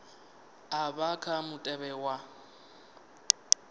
a vha kha mutevhe wa